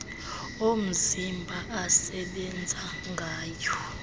omzimba asebenza ngayo